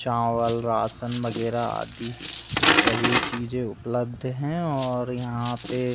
चावल राशन वगेरह आदि सभी चीजे उपलब्ध हैं और यहाँ पे --